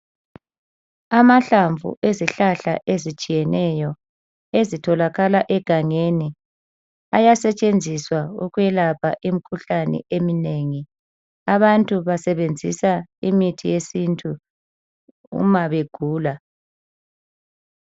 Amahlamvu ezihlahla ezitshiyeneyo ezitholakala egangeni ayasetshenziswa ukwelapha imikhuhlane eminengi. Abantu basebenzisa imithi yesintu uma begula.